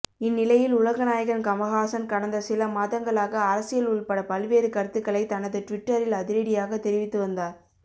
இந்நிலையில் உலகநாயகன் கமல்ஹாசன் கடந்த சில மாதங்களாக அரசியல் உள்பட பல்வேறு கருத்துக்களை தனது டுவிட்டரில் அதிரடியாக தெரிவித்து வந்தார்